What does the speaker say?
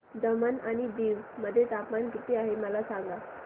दमण आणि दीव मध्ये तापमान किती आहे मला सांगा